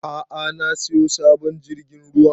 A'a na siyo sabon jirgin ruwa